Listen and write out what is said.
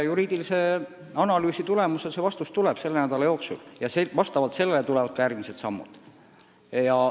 Juriidilise analüüsi põhjal antav vastus tuleb selle nädala jooksul ja vastavalt sellele tulevad ka järgmised sammud.